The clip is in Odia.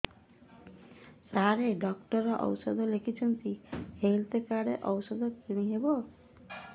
ସାର ଡକ୍ଟର ଔଷଧ ଲେଖିଛନ୍ତି ହେଲ୍ଥ କାର୍ଡ ରୁ ଔଷଧ କିଣି ହେବ